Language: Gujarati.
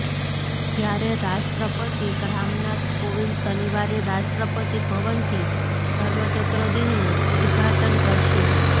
જ્યારે રાષ્ટ્રપતિ રામનાથ કોવિંદ શનિવારે રાષ્ટ્રપતિ ભવનથી ધર્મચક્ર દિનનું ઉદઘાટન કરશે